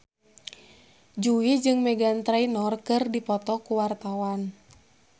Jui jeung Meghan Trainor keur dipoto ku wartawan